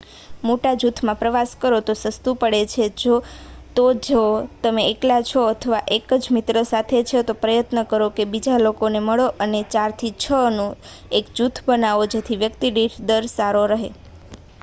મોટા જુથ માં પ્રવાસ કરો તો તે સસ્તું પડે છે તો જો તમે એકલા છો અથવા એક one જ મિત્ર સાથે છે તો પ્રયત્ન કરો કે તમે બીજા લોકોને મળો અને four ચાર થી છ six નું એક જુથ બનાવો જેથી વ્યક્તિ દીઠ દર સારો રહે